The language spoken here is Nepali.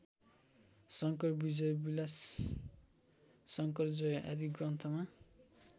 शङ्करविजयविलासशङ्करजय आदि ग्रन्थमा